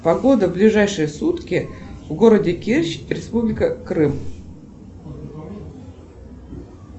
погода ближайшие сутки в городе керчь республика крым